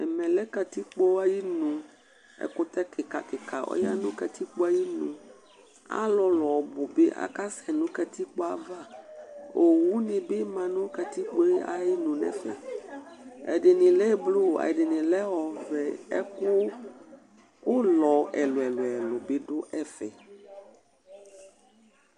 ̵ɛmẽ lẽ katikpo ainu ẽkutẽ kikakika ɔyanu katikpo ainu alulu ɔbubi akassɛ nu katikpoava owunibi ma nu katikpo